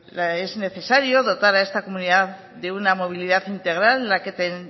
es necesario dotar a esta comunidad de una movilidad integral en